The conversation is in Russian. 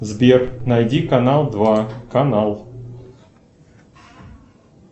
сбер найди канал два канал